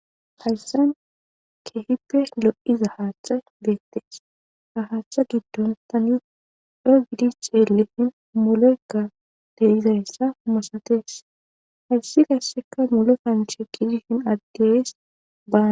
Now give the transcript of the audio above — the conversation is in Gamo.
Hayssa keehippe lo'iza haaththay beettes. Ha haaththa giddon tani coo giidi xeellishin moleykka de'izayssas masatees. Hayssi qasseka mole kanchche gidenna agges baa